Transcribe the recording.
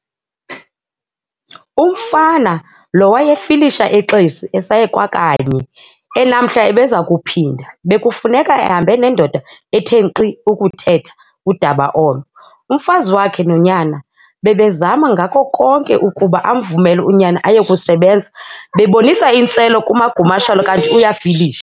Umfana lo wayefilisha eXesi, esaye kwakanye, enamhla ebeza kuphinda, bekufuneka ehambe nendoda ethe nkqi ukuthetha udaba olo. Umfazi wakhe nonyana bebezama ngako konke ukuba amvumele unyana ayokusebenza, bebonisa intswelo kaMagumasholo, kanti uyafilisha.